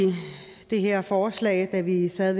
det her forslag da vi vi sad